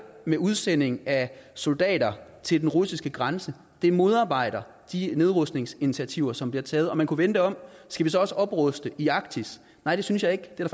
med udsending af soldater til den russiske grænse modarbejder de nedrustningsinitiativer som bliver taget man kunne vende det om skal vi så også opruste i arktis nej det synes jeg ikke det er